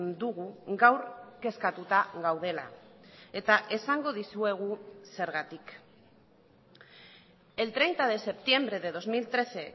dugu gaur kezkatuta gaudela eta esango dizuegu zergatik el treinta de septiembre de dos mil trece